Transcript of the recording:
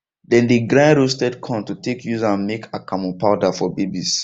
them dey grind roasted corn to take use am make akamu powder for babies